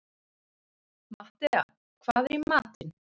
Matthea, hvað er í matinn?